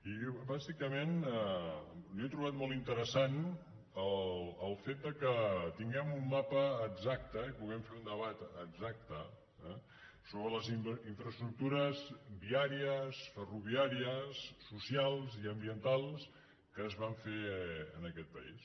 i bàsicament jo he trobat molt interessant el fet que tinguem un mapa exacte i puguem fer un debat exacte sobre les infraestructures viàries ferroviàries socials i ambientals que es van fer en aquest país